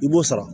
I b'o sara